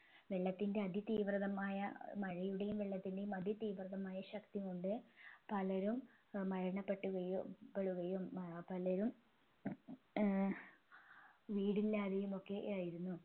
വെള്ളത്തിൻെറ അതി തീവ്രതമായ മഴയുടെയും വെള്ളത്തിൻറെയും അതിതീവ്രതമായ ശക്തി കൊണ്ട് പലരും മരണപ്പെട്ടുകയും പെടുകയും ഏർ പലരും ഏർ വീടില്ലാതെയുമൊക്കെ ആയിരുന്നു